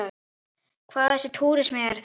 Hvaða massa túrismi er þetta?